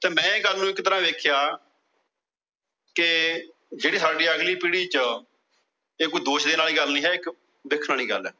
ਤੇ ਮੈ ਇਹ ਗੱਲ ਨੂੰ ਇੱਕ ਤਰਹ ਨਾਲ ਵੇਖਿਆ। ਕੇ ਜਿਹੜੀ ਸਾਡੀ ਅਗਲੀ ਪੀੜੀ ਚ ਇਹ ਕੋਈ ਦੋਸ਼ ਦੇਣ ਵਾਲੀ ਗੱਲ ਨਹੀਂ ਹੈ ਇੱਕ ਦੇਖਣ ਵਾਲੀ ਗੱਲ ਏ।